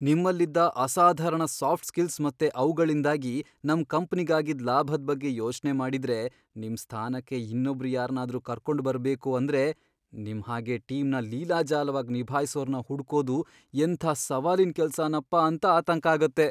ನಿಮ್ಮಲ್ಲಿದ್ದ ಅಸಾಧಾರಣ soft skills ಮತ್ತೆ ಅವ್ಗಳಿಂದಾಗಿ ನಮ್ ಕಂಪ್ನಿಗ್ ಆಗಿದ್ದ್ ಲಾಭದ್ ಬಗ್ಗೆ ಯೋಚ್ನೆ ಮಾಡಿದ್ರೆ ನಿಮ್ ಸ್ಥಾನಕ್ಕೆ ಇನ್ನೊಬ್ರ್ ಯಾರ್ನಾದ್ರೂ ಕರ್ಕೊಂಡ್ಬರ್ಬೇಕು ಅಂದ್ರೆ ನಿಮ್ ಹಾಗೆ ಟೀಮ್ನ ಲೀಲಾಜಾಲವಾಗ್ ನಿಭಾಯ್ಸೋರ್ನ ಹುಡ್ಕೋದು ಎಂಥ ಸವಾಲಿನ್ ಕೆಲ್ಸನಪ್ಪಾ ಅಂತ ಆತಂಕ ಆಗತ್ತೆ.